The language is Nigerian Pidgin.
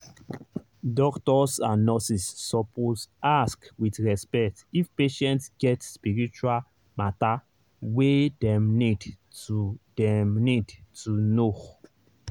doctors and nurses suppose ask with respect if patient get spiritual matter wey dem need to dem need to know.